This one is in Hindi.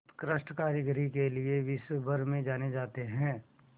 उत्कृष्ट कारीगरी के लिये विश्वभर में जाने जाते हैं